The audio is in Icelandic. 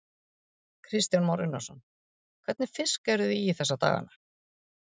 Kristján Már Unnarsson: Hvernig fisk eruð þið í þessa dagana?